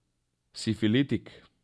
Sifilitik.